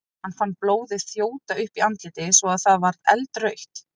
Hann fann blóðið þjóta upp í andlitið svo að það varð eldrautt.